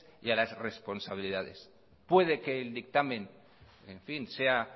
y a las responsabilidades puede que el dictamen en fin sea